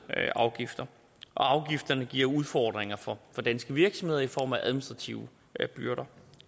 afgifter og afgifterne giver udfordringer for danske virksomheder i form af administrative byrder